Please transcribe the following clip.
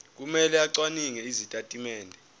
kumele acwaninge izitatimende